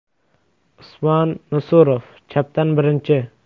Usmon Nusurov (chapdan birinchi).